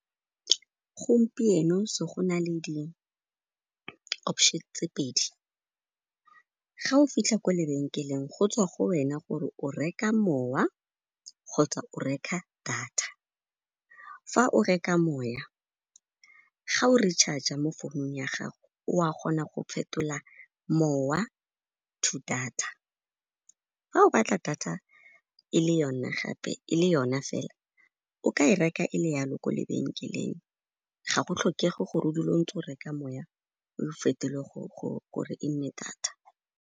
Gompieno na le di option tse pedi. Ga o fitlha kwa lebenkeleng, go tswa go wena gore o reka mowa kgotsa o reka data. Fa o reka moya, ga o re charge-r mo founung ya gago, o a kgona go phetola mowa to data. Fa o batla data e le yona fela, o ka e reka e le yalo ko lebenkeleng, ga go tlhokege gore o dule o ntse o reka moya o le fetoge gore e nnete data.